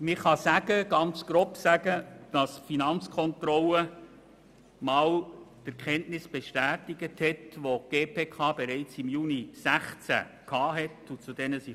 Ganz grob gesagt kann man festhalten, dass die Finanzkontrolle die Erkenntnisse bestätigt hat, zu denen die GPK bereits im Juni 2016 gelangt ist.